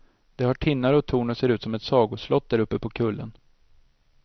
Det har tinnar och torn och ser ut som ett sagoslott däruppe på kullen.